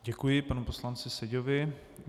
Děkuji panu poslanci Seďovi.